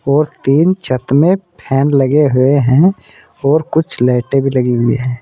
और तीन छत में फैन लगे हुए हैं और कुछ लाइटें भी लगी हुई हैं।